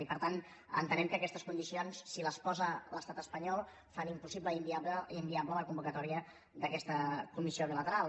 i per tant entenem que aquestes condicions si les posa l’estat espanyol fan impossible i inviable la convocatòria d’aquesta comissió bilateral